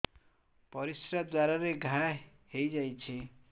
ପରିଶ୍ରା ଦ୍ୱାର ରେ ଘା ହେଇଯାଇଛି